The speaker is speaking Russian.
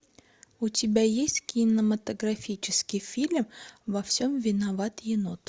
у тебя есть кинематографический фильм во всем виноват енот